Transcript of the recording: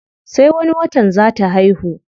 Sai wani watan zaa ta haihu.